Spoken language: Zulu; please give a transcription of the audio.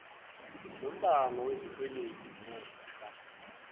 nombango wesikweledu ngefa